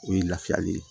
O ye lafiya le ye